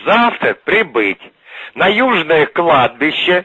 завтра прибыть на южное кладбище